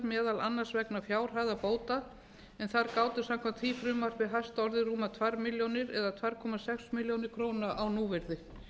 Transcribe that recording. meðal annars vegna fjárhæðar bóta en þar gátu samkvæmt því frumvarpi hæst orðið rúmar tvær milljónir eða tvö komma sex milljónir króna á núvirði